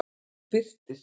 Birtir